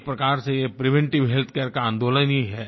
एक प्रकार से ये प्रिवेंटिव हेल्थ केयर का आंदोलन ही है